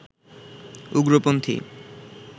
উগ্রপন্থী